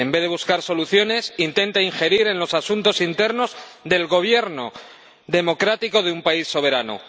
En vez de buscar soluciones intenta injerirse en los asuntos internos del gobierno democrático de un país soberano.